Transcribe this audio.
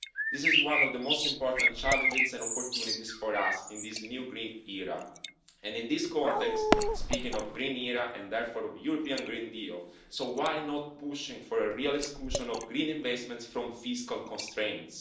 This is one of the most important challenges and opportunities for us in this new green era and in this context, speaking of the green era and therefore of the European Green Deal, why are we not pushing for a real exclusion of green investment from fiscal constraints?